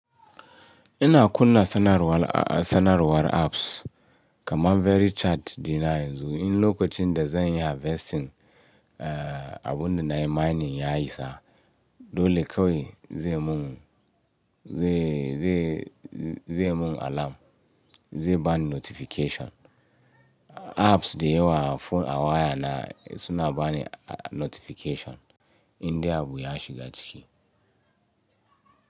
Ina kunna sanarwar apps kamar VeryChat dina yanzu in lokacin da zan yi harvesting abunda nayi mining ya isa dole kawai zai mun alarm, zai bani notification. Apps dayawa a waya na suna bani notification indai abu ya shiga ciki.